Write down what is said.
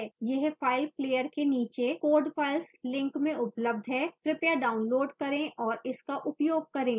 यह file player के नीचे code files link में उपलब्ध है कृपया डाउनलोड करें और इसका उपयोग करें